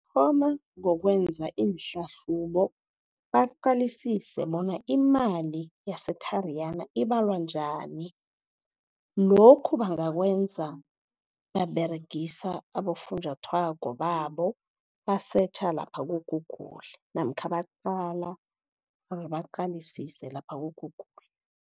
Thoma ngokwenza iinhlahlubo baqalisise bona imali yeTariyana ibalwa njani, lokhu bangakwenza baberegisa abofunjathwako babo, basetjha lapha ku-Google namkha baqala or baqalisise lapha ku-Google.